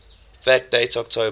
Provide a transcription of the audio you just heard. fact date october